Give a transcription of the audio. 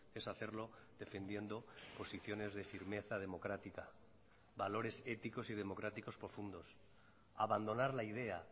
es hacerlo defendiendo posiciones de firmeza democrática valores éticos y democráticos profundos abandonar la idea